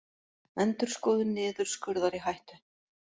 Endurskoðun niðurskurðar í hættu